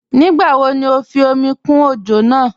Nígbà wò ní o fí omi kún ojò náà?